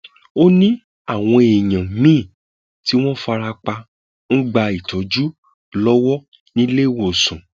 ó ní àwọn èèyàn míín tí wọn fara pa ń gba ìtọjú lọwọ níléewọsàn